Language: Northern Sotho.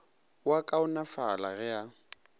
o a kaonafala ge a